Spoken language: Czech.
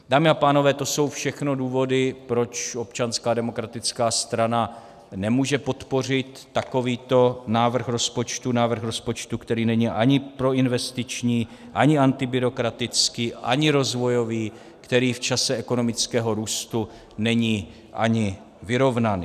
Dámy a pánové, to jsou všechno důvody, proč Občanská demokratická strana nemůže podpořit takovýto návrh rozpočtu, návrh rozpočtu, který není ani proinvestiční, ani antibyrokratický, ani rozvojový, který v čase ekonomického růstu není ani vyrovnaný.